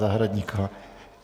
Zahradníková.